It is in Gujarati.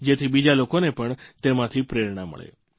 જેથી બીજા લોકોને પણ તેમાંથી પ્રેરણા મળે